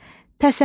Təsəlli,